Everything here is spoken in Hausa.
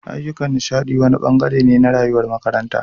Ayyukan nishaɗi wani ɓangare ne na rayuwar makaranta